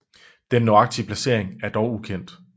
Den nøjagtige placering er dog ukendt